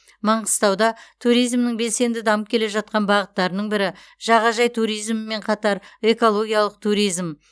маңғыстауда туризмнің белсенді дамып келе жатқан бағыттарының бірі жағажай туризмімен қатар экологиялық туризм